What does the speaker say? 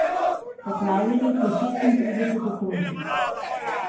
Poplavljenih je šestintrideset okrožij.